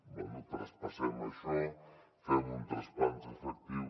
bé traspassem això fem un traspàs efectiu